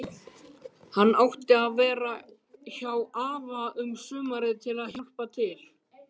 Hann átti að vera hjá afa um sumarið að hjálpa til.